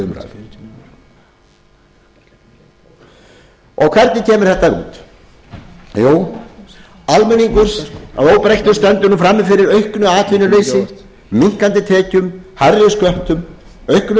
hvernig kemur þetta út jú almenningur að óbreyttu stendur frammi fyrir auknu atvinnuleysi minnkandi tekjum hærri sköttum auknum